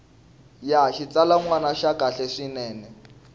ya xitsalwana ya kahle swinene